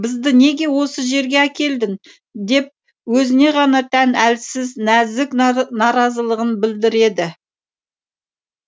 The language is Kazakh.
бізді неге осы жерге әкелдің деп өзіне ғана тән әлсіз нәзік наразылығын білдіреді